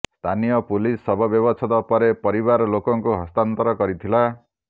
ସ୍ଥାନୀୟ ପୁଲିସ ଶବ ବ୍ୟବଚ୍ଛେଦ ପରେ ପରିବାର ଲୋକଙ୍କୁ ହସ୍ତାନ୍ତର କରିଥିଲା